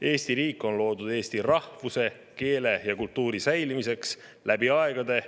Eesti riik on loodud eesti rahvuse, keele ja kultuuri säilimiseks läbi aegade.